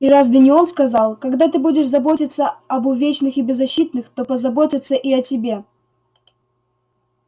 и разве не он сказал когда ты будешь заботиться об увечных и беззащитных то позаботятся и о тебе